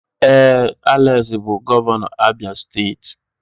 Ee, Alex bụ gọvanọ Abia steeti